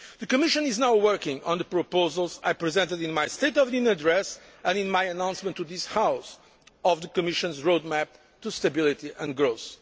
The Commission is now working on the proposals I presented in my State of the Union address and in my announcement to this House of the Commission's Roadmap to Stability and Growth.